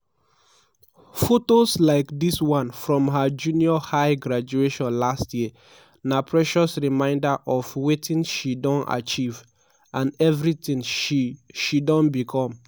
fotos like dis one from her junior high graduation last year na precious reminder of wetin she don achieve - and evritin she she don become.